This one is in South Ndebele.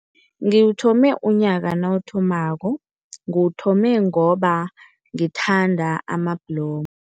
Ngiwuthome unyaka nawuthomako, ngiwuthome ngoba ngithanda amabhlomu.